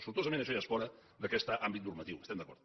sortosament això ja és fora d’aquest àmbit normatiu hi estem d’acord